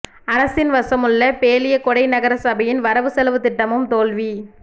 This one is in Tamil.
அரசின் வசமுள்ள பேலியகொடை நகர சபையின் வரவு செலவு திட்டமும் தோல்வி